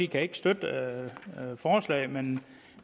kan ikke støtte forslaget men